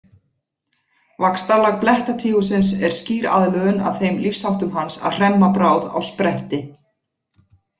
Vaxtarlag blettatígursins er skýr aðlögun að þeim lífsháttum hans að hremma bráð á spretti.